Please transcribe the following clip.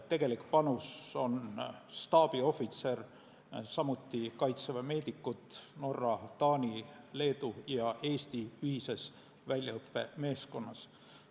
Tegelik panus on staabiohvitser, samuti kaitseväemeedikud Norra, Taani, Leedu ja Eesti ühises väljaõppemeeskonnas.